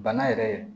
Bana yɛrɛ